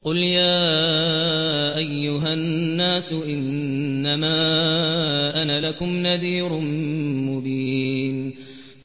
قُلْ يَا أَيُّهَا النَّاسُ إِنَّمَا أَنَا لَكُمْ نَذِيرٌ مُّبِينٌ